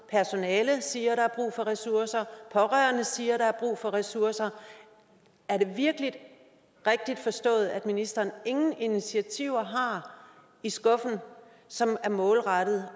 at personale siger at der er brug for ressourcer at pårørende siger at der er brug for ressourcer er det virkelig rigtigt forstået at ministeren ingen initiativer har i skuffen som er målrettet